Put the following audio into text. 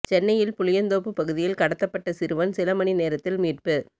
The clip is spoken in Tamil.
சென்னையில் புளியந்தோப்பு பகுதியில் கடத்தப்பட்ட சிறுவன் சில மணி நேரத்தில் மீட்பு